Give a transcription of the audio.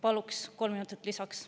Palun kolm minutit lisaks.